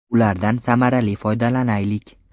Ulardan samarali foydalanaylik.